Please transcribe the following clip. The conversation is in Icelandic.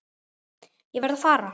Ég varð að fara.